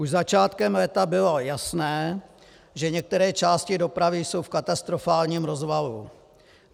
Už začátkem léta bylo jasné, že některé části dopravy jsou v katastrofálním rozvalu.